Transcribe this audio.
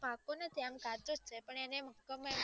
પાકો નથી પણ કાચોજ઼ છે